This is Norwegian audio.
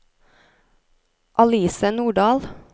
Alice Nordahl